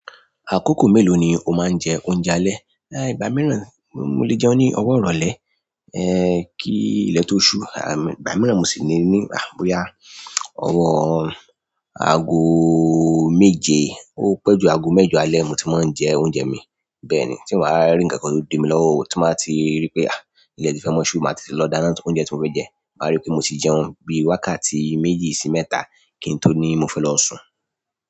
Àkókò mélòó ni o máa ń jẹ oúnjẹ alẹ́? Ẹ̀h, ìgbà mìíràn mo, mo lè jẹun ní ọwọ́ ìrọ̀lẹ́, ẹ́h, kí ilẹ̀ tó ṣú, àmm ìgbà mìíràn mo sì le ní àh bóya, ọwọ́ aago méje, ó pẹ́ jù aago mẹ́jọ alẹ́ mo ti máa ń jẹ oúnjẹ mi. Bẹ́ẹ̀ ni tí n bá wa rí ǹkankan tó di mi lọ́wọ́ o, tí n bá ti rí pé à, ilẹ̀ ti fẹ́ maa ṣu, màá tì tètè lọ dáná tu oúnjẹ tí mo fẹ́ jẹ, màá rí pé mo ti jẹun bí wákàtí méjì sí mẹ́ta kí n tó ní mo fẹ́ lọ sùn.